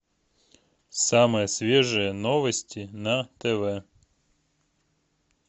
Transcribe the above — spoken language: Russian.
самые свежие новости на тв